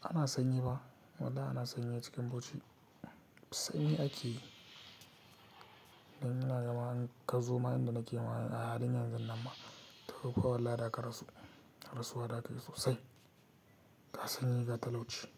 Ana sanyi ba? Wallahi ana sanyi a cikin bauchi. Sanyi ake, dan ina gama in ka zo mayan da nake maye a haɗin yan zun nan ma ta fi kuwa wallahi ɗaka rasu. Rasuwa daka sosai. Ta sanyi ga talauci.